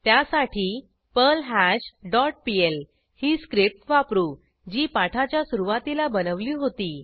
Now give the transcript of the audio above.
त्यासाठी पर्ल्हाश dot PL ही स्क्रिप्ट वापरू जी पाठाच्या सुरूवातीला बनवली होती